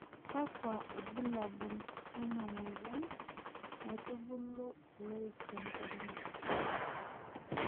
Kakua irbulabol lena moyian naitubulu iloik tenkoriong"